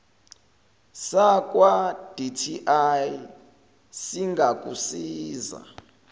sakwa dti singakusiza